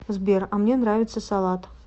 сбер а мне нравится салат